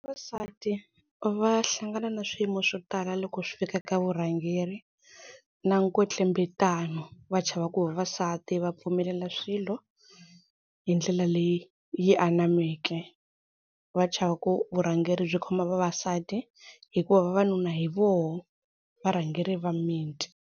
Vavasati va hlangana na swiyimo swo tala loko swi fika ka vurhangeri na nkwetlembetano va chava ku vavasati va pfumelela swilo hi ndlela leyi yi anameke va chava ku vurhangeri byi khoma vavasati hikuva vavanuna hi voho varhangeri va miti.